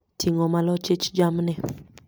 Ting'o malo chich jamni